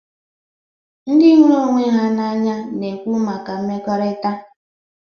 Ndị hụrụ ọnwe ha n'anya na-ekwu maka mmekọrịta.